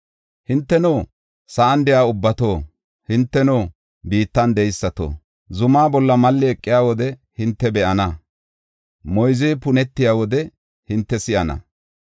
Hinteno, sa7an de7iya ubbato, hinteno, biittan de7eysato, zumaa bolla malli eqiya wode hinte be7ana; moyzey punetiya wode hinte si7ana.